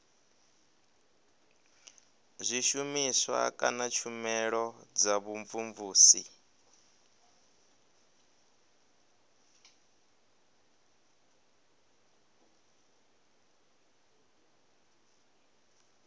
zwishumiswa kana tshumelo dza vhumvumvusi